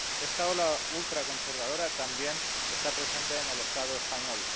Esta ola ultraconservadora también está presente en el Estado español.